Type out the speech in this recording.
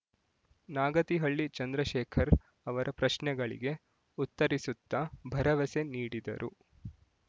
ನಾಗತಿಹಳ್ಳಿ ಚಂದ್ರಶೇಖರ್ ಅವರ ಪ್ರಶ್ನೆಗಳಿಗೆ ಉತ್ತರಿಸುತ್ತಾ ಭರವಸೆ ನೀಡಿದರು